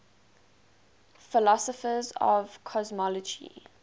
philosophers of cosmology